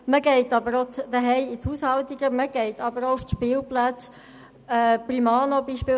Es werden aber auch Haushaltungen und Spielplätze besucht.